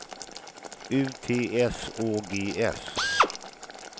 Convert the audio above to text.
U T S Å G S